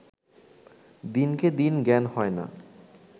দিনকে দিন জ্ঞান হয় না